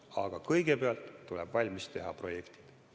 Aga kõigepealt tuleb valmis teha projektid.